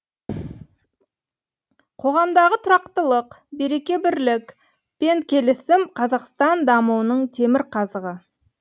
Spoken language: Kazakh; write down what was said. қоғамдағы тұрақтылық береке бірлік пен келісім қазақстан дамуының темірқазығы